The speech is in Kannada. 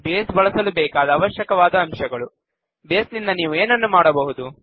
ಬೇಸ್ ಬಳಸಲು ಬೇಕಾದ ಅವಶ್ಯಕವಾದ ಅಂಶಗಳು ಬೇಸ್ ನಿಂದ ನೀವು ಏನನ್ನು ಮಾಡಬಹುದು